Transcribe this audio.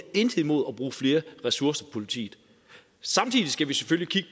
intet imod at bruge flere ressourcer politiet samtidig skal vi selvfølgelig